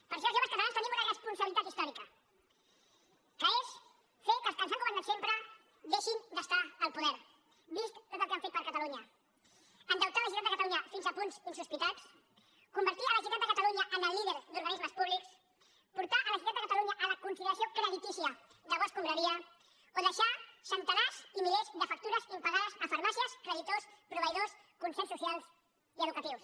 per això els joves catalans tenim una responsabilitat històrica que és fer que els que ens han governat sempre deixin d’estar al poder vist tot el que han fet per catalunya endeutar la generalitat de catalunya fins a punts insospitats convertir la generalitat de catalunya en el líder d’organismes públics portar la generalitat de catalunya de catalunya a la consideració creditícia de bo escombraria o deixar centenars i milers de factures impagades a farmàcies creditors proveïdors concerts socials i educatius